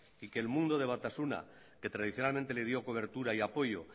y que el mundo de batasuna que tradicionalmente le dio cobertura y apoyo